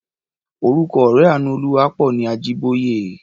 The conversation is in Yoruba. Orúkọ ọ̀rẹ́ Àánúolúwaápọ̀ ni Ajíbóyè.